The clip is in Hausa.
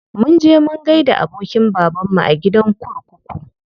Mun je mun gaida abokin babanmu a gidan kurkuku.